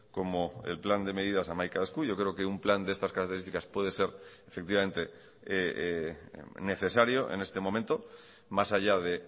como el plan de medidas hamaika esku yo creo que un plan de estas características puede ser efectivamente necesario en este momento más allá de